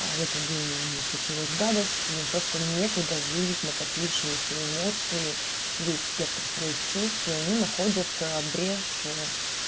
а в этот день у него случилась гадость и просто некуда вылить накопившиеся эмоции весь спектр своих чувств и они находят брешь